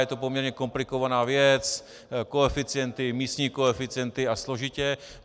Je to poměrně komplikovaná věc, koeficienty, místní koeficienty a složitě.